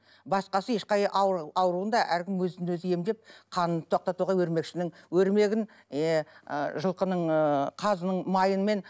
басқасы ешқай ауруында әркім өзін өзі емдеп қанын тоқтатуға өрмекшінің өрмегін е жылқының ыыы қазының майымен